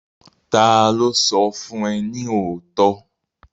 Ta ló sọ fún ẹ ní òótọ́?